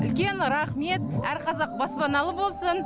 үлкен рахмет әр қазақ баспаналы болсын